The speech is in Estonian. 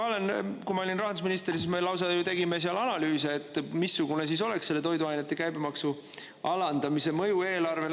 Kui ma olin rahandusminister, siis me lausa ju tegime seal analüüse, et missugune siis oleks selle toiduainete käibemaksu alandamise mõju eelarvele.